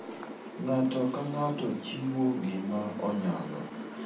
Ng'ato ka ng'ato chiwo gima onyalo.